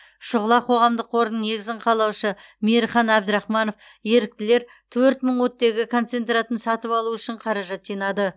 шұғыла қоғамдық қорының негізін қалаушы мейірхан әбдірахманов еріктілер төрт мың оттегі концентраторын сатып алу үшін қаражат жинады